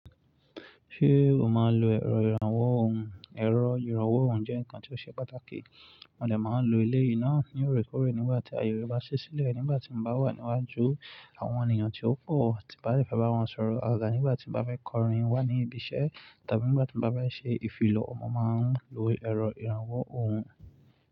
Ṣé o máa ń lo ẹ̀rọ ìrànwọ́ ohùn? Ẹ̀rọ ìrànwọ́ ohùn jẹ́ nǹkan tí ó ṣe pàtàkì, mo lè máa ń lo ilé yìí náà ní òrékòóré nígbà tí àyè bá ṣẹ́ sílẹ̀, nígbà tí mo bá wà níwájú àwọn ènìyàn tí ó pọ̀ tí bá fẹ́ bá wọn sọ̀rọ̀ àgàgà, nígbà tí mo bá fẹ́ kọrin wá ní ibi iṣẹ́ tàbí nígbà tí mo bá fẹ́ ṣe ìfilọ, mo máa ń lo ẹ̀rọ ìrànwọ́ ohùn.